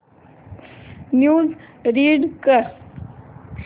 news read कर